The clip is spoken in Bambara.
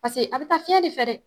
Paseke a be taa fiɲɛ de fɛ dɛ